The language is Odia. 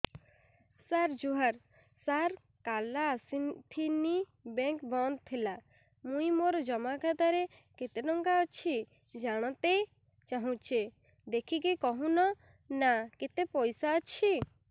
ସାର ଜୁହାର ସାର କାଲ ଆସିଥିନି ବେଙ୍କ ବନ୍ଦ ଥିଲା ମୁଇଁ ମୋର ଜମା ଖାତାରେ କେତେ ଟଙ୍କା ଅଛି ଜାଣତେ ଚାହୁଁଛେ ଦେଖିକି କହୁନ ନା କେତ ପଇସା ଅଛି